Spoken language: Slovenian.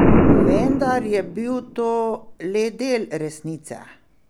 Vendar je bil to le del resnice.